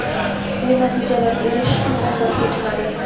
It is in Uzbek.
bu natijalarga erishish ham oson kechmadi.